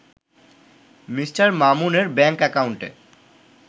Me. মামুনের bank অ্যাকাউন্টে